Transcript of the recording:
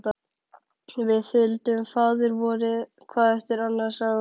Við þuldum Faðirvorið hvað eftir annað, sagði hún.